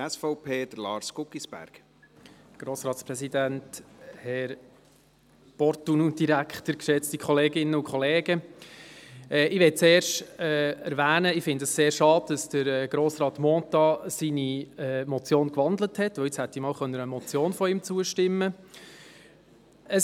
Ich möchte zuerst erwähnen, dass ich es sehr schade finde, dass Grossrat Mentha seine Motion gewandelt hat, denn jetzt ich hätte einmal einer Motion von ihm zustimmen können.